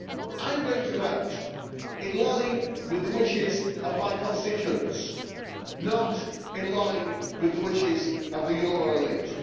I am going to vote in line with the wishes of my constituents, not in line with the wishes of the Euro elite.